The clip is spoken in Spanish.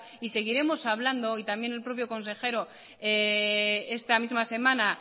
y seguiremos hablando y también el propio consejero esta misma semana